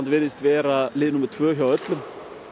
virðist vera lið númer tvö hjá öllum